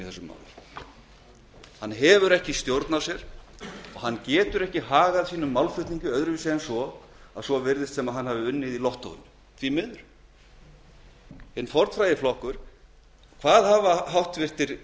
máli hann hefur ekki stjórn á sér og hann getur ekki hagað málflutningi sínum á annan veg en þann að svo virðist sem hann hafi unnið í lottói því miður hvað hafa háttvirtir formenn þessa